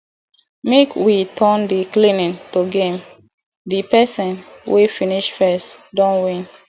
make we turn di cleaning to game di pesin wey finish first don win